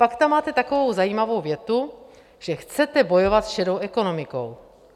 Pak tam máte takovou zajímavou větu, že chcete bojovat s šedou ekonomikou.